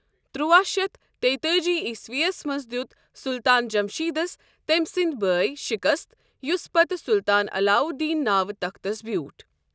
ترواہ شیتھ تۍتأجی ٰعسوی ہس منز دیُت سٗلطان جمشیدس تمہِ سندی بٲیہ شکست یُس پتہ سُلطان عللاو دین ناوٕ تختس بیوٗٹھ ۔